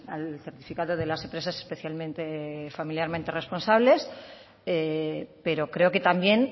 al certificado de las empresas especialmente familiarmente responsables pero creo que también